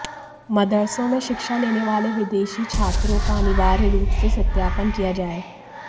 मदरसों में शिक्षा लेने वाले विदेशी छात्रों का अनिवार्य रूप से सत्यापन किया जाए